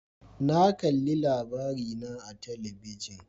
Na kalli LABARINA a talabijin.